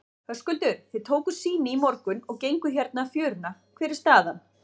Höskuldur: Þið tókuð sýni í morgun og genguð hérna fjöruna, hver er staðan?